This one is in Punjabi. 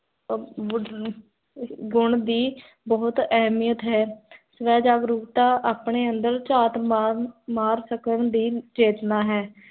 ਅਵ ਗੁਣ ਦੀ, ਬੋਹੋਤ ਏਹਮਿਯਤ ਹੈ ਸਵੈ ਜਾਗਰੁਕਤਾ ਆਪਣੇ ਅੰਦਰ ਚਾਤ ਮਾਰ, ਮਾਰ ਸਕਨ ਦਾ ਚੇਤਨਾ ਹੈ